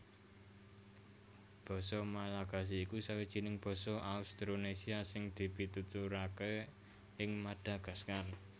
Basa Malagasy iku sawijining basa Austronésia sing dipituturaké ing Madagaskar